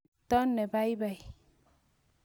Chepto ne paipai.